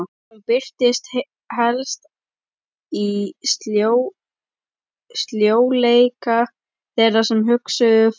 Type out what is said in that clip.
Hún birtist helst í sljóleika þeirra sem hugsuðu fátt.